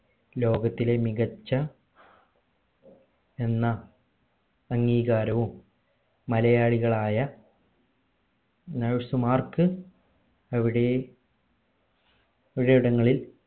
ലോകത്തിലെ മികച്ച എന്ന അംഗീകാരവും മലയാളികളായ nurse മാർക്ക് എവിടെയും ചിലയിടങ്ങളിൽ